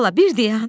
Bala bir dayan.